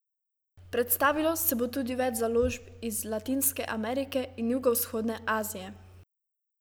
Predstavilo se bo tudi več založb iz Latinske Amerike in jugovzhodne Azije.